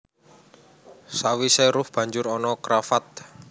Sawisé ruff banjur ana cravat